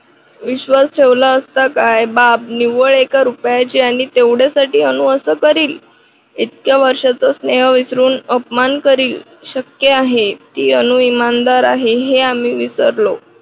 विश्वास ठेवला असता काय बाब निव्वळ एका रुपयाची आणि तेवढ्यासाठी अनु असं करील. इतक्या वर्षाच स्नेह विसरून अपमान करील. शक्य आहे ती अनु इमानदार आहे हे आम्ही विसरलो.